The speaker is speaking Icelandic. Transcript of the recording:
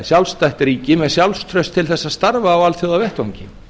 sjálfstætt ríki með sjálfstraust til þess að starfa á alþjóðavettvangi